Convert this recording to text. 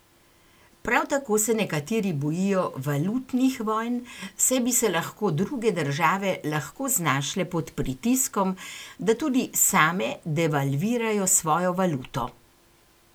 Prav tako se nekateri bojijo valutnih vojn, saj bi se lahko druge države lahko znašle pod pritiskom, da tudi same devalvirajo svojo valuto.